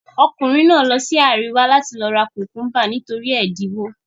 Ọkùnrin náà lọ sí àríwá láti lọ ra kùkúḿbà, nítorí ẹ̀dínwó.